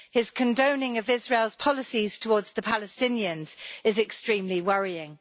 His condoning of Israel's policies towards the Palestinians is extremely worrying.